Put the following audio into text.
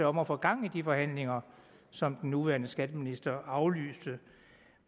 om at få gang i de forhandlinger som den nuværende skatteminister aflyste